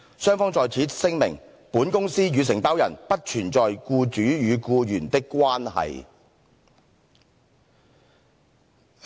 雙方在此聲明，本公司()與承包人不存在僱主與僱員的關係。